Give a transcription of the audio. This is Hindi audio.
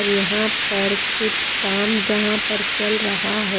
यहां पर कुछ काम जहां पर चल रहा है